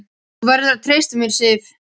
Þú verður að treysta mér, Sif.